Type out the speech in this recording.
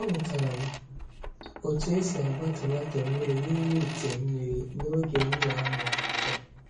Amụtara m otú e si agba tomato mmiri n’ime ite mmiri n’oge m na-amụ akwụkwọ.